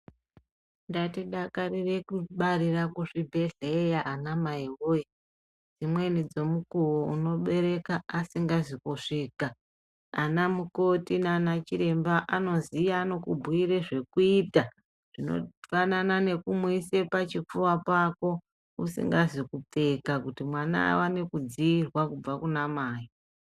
Ngatidakarire kubarire kuzvibhedhlera anamai woye dzimweni dzemukuwo munobereka asingazi kusvika, anamukoti nana chiremba anoiziya anokubhuire zvekuita zvinofanana nekumuise pachipfuva chako isingazi kupfeka kuti mwana awane kudziirwa kubva Kuna mai.